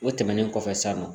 O tɛmɛnen kɔfɛ san nɔ